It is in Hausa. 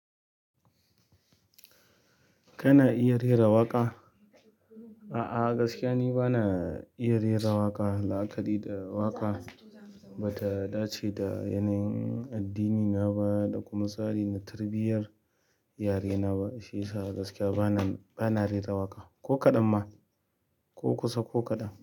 Kana iya rera waƙa? A'a, gaskiya ni bana iya rera waƙa. La'akari da waƙa ba ta dace da yanayin addinina ba da kuma tsarin tarbiyyar yarena ba. Shi yasa gaskiya bana, bana rera waƙa. Ko kaɗan ma, ko kusa, ko kaɗan.